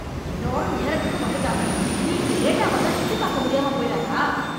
எல்லாரும் நேரத்துக்கு வந்திட்டாங்க. நீ இப்படி லேட்டா வந்தா சுத்தி பார்க்க முடியாம போயிறாதா?